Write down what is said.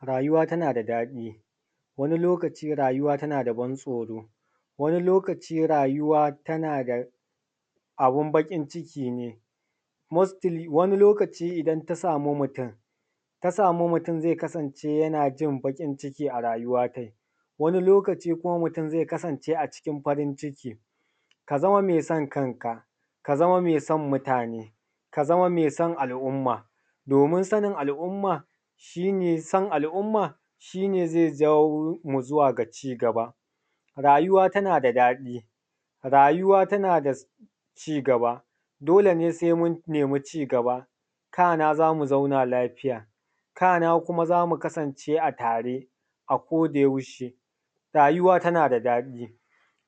Rayuwa tana da daɗi, wani lokaci rayuwa tana da ban tsoro, wani lokaci rayuwa tana da abun baƙin ciki. Mostili, idan wani lokaci idan ta samu mutum, ta samu mutum, zai kasance yana jin baƙin ciki a rayuwa dai wani lokaci kuma, mutum zai kasance a cikin farin ciki. Ka zama mai san kanka, ka zama mai san mutane, ka zama mai san al’umma. Domin sanin al’umma, shi ne son al’umma. Shi ne za jawo mu zuwa ga ci gaba. Rayuwa tana da daɗi, rayuwa tana da ci gaba. Dole ne sai mun nemi ci gaba, kana za mu zauna lafiya, kana za mu kasance tare a ko da yaushe. Rayuwa tana da daɗi,